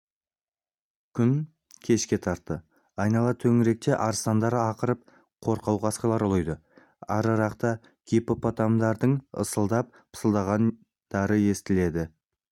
күн кешке тартты айнала төңіректе арыстандар ақырып қорқау қасқырлар ұлиды арырақта гиппопотамдардың ысылдап-пысылдағандары естіледі шамасы ол